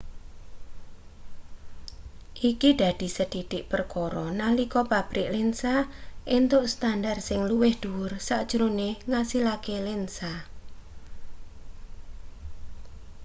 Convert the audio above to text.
iki dadi sethithik perkara nalika pabrik lensa entuk standar sing luwih dhuwur sajrone ngasilake lensa